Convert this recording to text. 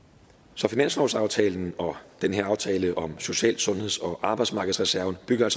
så finanslovsaftalen og den her aftale om social sundheds og arbejdsmarkedsreserven bygger